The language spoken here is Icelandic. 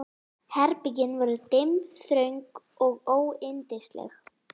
Herbergin voru dimm, þröng og óyndisleg.